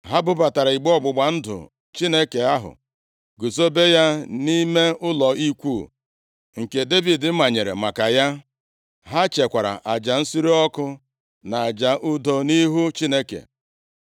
Ha bubatara igbe ọgbụgba ndụ Chineke ahụ guzobe ya nʼime ụlọ ikwu nke Devid manyere maka ya. Ha chekwara aja nsure ọkụ na aja udo nʼihu Chineke.